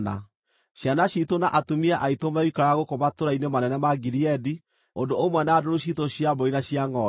Ciana ciitũ na atumia aitũ megũikara gũkũ matũũra-inĩ manene ma Gileadi, ũndũ ũmwe na ndũũru ciitũ cia mbũri na cia ngʼombe.